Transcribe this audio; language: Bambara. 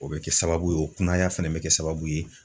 O bɛ kɛ sababu ye o kunaya fɛnɛ bɛ kɛ sababu ye